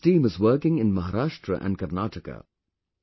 Today this team is working in Maharashtra and Karnataka